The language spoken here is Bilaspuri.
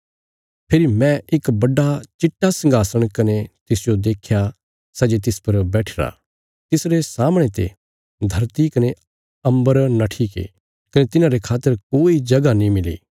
फेरी मैं इक बड्डा चिट्टा संघासण कने तिसजो देख्या सै जे तिस पर बैठिरा तिसरे सामणे ते धरती कने अम्बरा नट्ठीगे कने तिन्हांरे खातर कोई जगह नीं मिली